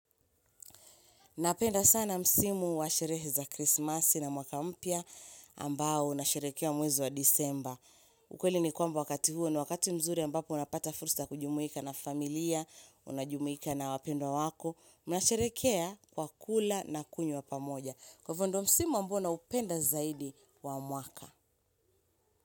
Napenda sana msimu wa sherehe za krismasi na mwaka mpya ambao unasherehekea mwezi wa disemba. Ukweli ni kwamba wakati huo ni wakati mzuri ambapo unapata fursa ya kujumuika na familia, unajumuika na wapendwa wako. Mnasherehekea kwa kula na kunywa pamoja. Kwa hivyo ndio msimu ambao naupenda zaidi wa mwaka.